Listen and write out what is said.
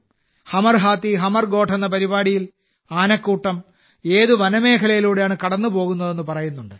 ഹമർ ഹാത്തി ഹമർ ഗോഠ് എന്ന പരിപാടിയിൽ ആനക്കൂട്ടം ഏത് വനമേഖലയിലൂടെയാണ് കടന്നുപോകുന്നതെന്ന് പറയുന്നുണ്ട്